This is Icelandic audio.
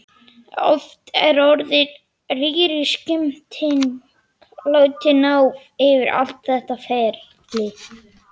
Oft er orðið rýriskipting látið ná yfir allt þetta ferli.